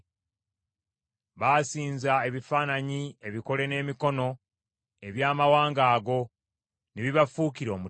Baasinza ebifaananyi ebikole n’emikono eby’amawanga ago ne bibafuukira omutego.